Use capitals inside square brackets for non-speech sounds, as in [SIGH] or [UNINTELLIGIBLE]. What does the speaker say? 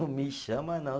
[UNINTELLIGIBLE] Me chama, não.